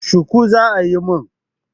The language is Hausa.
Shuku za a yi mun.